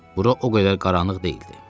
Bura o qədər qaranlıq deyildi.